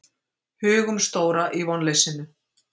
Hugumstóra í vonleysinu.